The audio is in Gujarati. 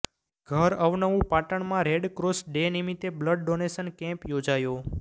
ઘર અવનવું પાટણમાં રેડક્રોસ ડે નિમિત્તે બ્લડ ડોનેશન કેમ્પ યોજાયો